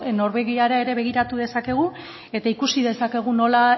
norvegiara ere begiratu dezakegu eta ikusi dezakegu nola